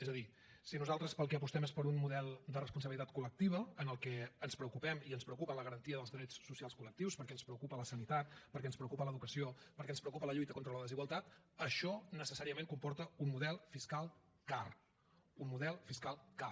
és a dir si nosaltres per al que apostem és per un model de responsabilitat col·lectiva en què ens preocupem i ens preocupa la garantia dels drets socials col·lectius perquè ens preocupa la sanitat perquè ens preocupa l’educació perquè ens preocupa la lluita contra la desigualtat això necessàriament comporta un model fiscal car un model fiscal car